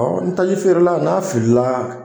Hɔ ni taji feere la n'a fili la.